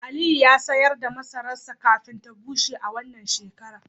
Aliyu ya sayar da masararsa kafin ya bushe a wannan shekara